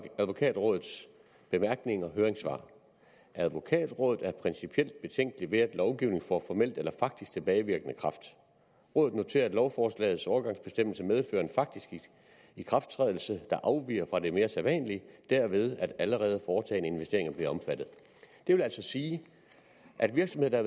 advokatrådets bemærkninger i deres høringssvar advokatrådet er principielt betænkelig ved at lovgivning får formel eller faktisk tilbagevirkende kraft rådet noterer at lovforslagets overgangsbestemmelse medfører en faktisk ikrafttrædelse der afviger fra det mere sædvanlige derved at allerede foretagne investeringer bliver omfattet det vil altså sige at virksomheder